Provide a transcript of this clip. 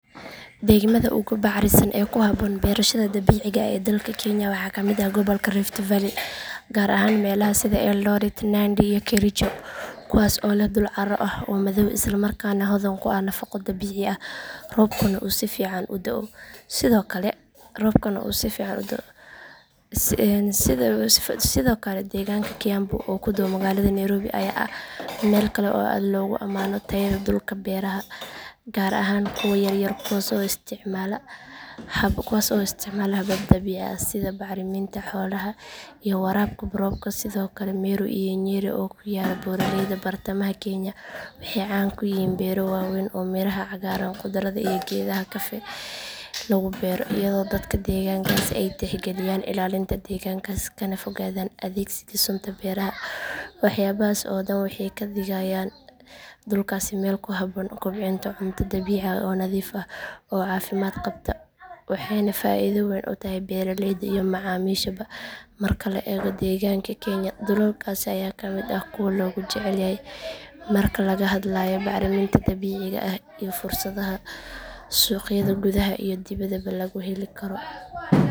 Deegaamada ugu bacrinsan ee ku habboon beerashada dabiiciga ah ee dalka kenya waxaa kamid ah gobolka rift valley gaar ahaan meelaha sida eldoret nandi iyo kericho kuwaas oo leh dhul carro ah oo madow isla markaana hodan ku ah nafaqo dabiici ah roobkuna uu si fiican uga da'o sidoo kale deegaanka kiambu oo ku dhow magaalada nairobi ayaa ah meel kale oo aad loogu amaano tayada dhulka beeraha gaar ahaan kuwa yaryar kuwaas oo isticmaala habab dabiici ah sida bacriminta xoolaha iyo waraabka roobka sidoo kale meru iyo nyeri oo ku yaalla buuraleyda bartamaha kenya waxay caan ku yihiin beero waaweyn oo miraha cagaaran khudradda iyo geedaha kafee lagu beero iyadoo dadka deegaankaasi ay tixgeliyaan ilaalinta deegaanka kana fogaadaan adeegsiga sunta beeraha waxyaabahaasi oo dhan waxay ka dhigayaan dhulkaasi meel ku habboon kobcinta cunto dabiici ah oo nadiif ah oo caafimaad qabta waxayna faa'iido weyn u tahay beeraleyda iyo macaamiisha ba marka la eego deegaanka kenya dhulalkaasi ayaa kamid ah kuwa loogu jecel yahay marka laga hadlayo bacrinta dabiiciga ah iyo fursadaha suuqyada gudaha iyo dibaddaba lagu heli karo